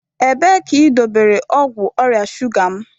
Ebee ka idobere ọgwụ ọrịa shuga m?